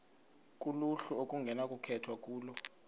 kuluhlu okunokukhethwa kulo